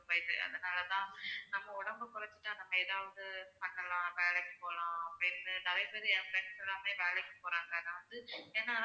அதனால தான் நம்ம உடம்ப குறச்சிட்டா நம்ம ஏதாவது பண்ணலாம் வேலைக்கு போகலாம் அப்படின்னு நிறைய பேரு என் friends லாமே வேலைக்கு போறாங்க நான் வந்து என்னால